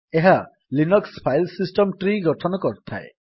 ଏହା Linux file system tree ଗଠନ କରିଥାଏ